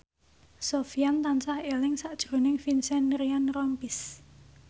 Sofyan tansah eling sakjroning Vincent Ryan Rompies